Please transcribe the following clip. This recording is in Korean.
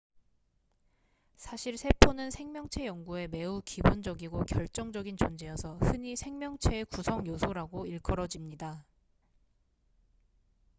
"사실 세포는 생명체 연구에 매우 기본적이고 결정적인 존재여서 흔히 "생명체의 구성 요소""라고 일컬어집니다.